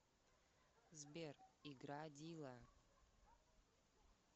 сбер играй дила